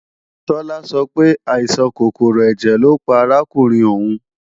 Tọ́lá sọ pé, àìsàn kòkòrò ẹ̀jẹ̀ lọ́ pa arákùnrin òun